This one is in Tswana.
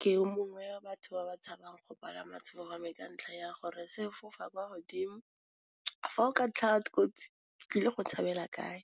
Ke o mongwe wa batho ba ba tshabang go palama sefofane ka ntlha ya gore, se fofa kwa godimo fa go ka tlhaga di kotsi ke tlile go tshabela kae,